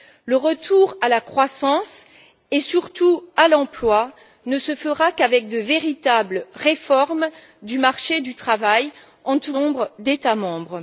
Le retour à la croissance, et surtout à l'emploi, ne se fera qu'avec de véritables réformes du marché du travail, en tout cas dans un certain nombre d'États membres.